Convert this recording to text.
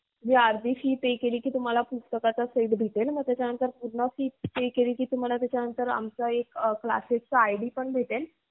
अर्धी fee pay केली की तुझमला पुस्तकेचा set भेटेल. आणि त्यानंतर तुम्हाला class id मिळेल.